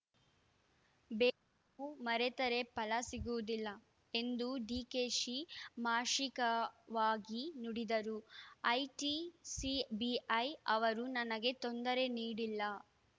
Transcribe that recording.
ಬೇವು ಮರೆತರೆ ಫಲ ಸಿಗುವುದಿಲ್ಲ ಎಂದು ಡಿಕೆಶಿ ಮಾರ್ಶಿಕವಾಗಿ ನುಡಿದರು ಐಟಿ ಸಿಬಿಐ ಅವರು ನನಗೆ ತೊಂದರೆ ನೀಡಿಲ್ಲ